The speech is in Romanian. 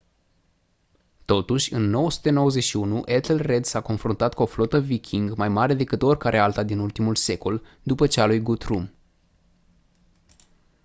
totuși în 991 ethelred s-a confruntat cu o flotă viking mai mare decât oricare alta din ultimul secol după cea a lui guthrum